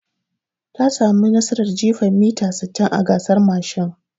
Ta samu nasarar jifan mita sittin a gasar mashin.